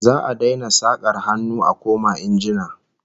Za'a daina sakar hannu a koma injina